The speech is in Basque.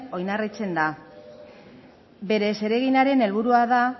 oinarritzen da bere zereginaren helburua da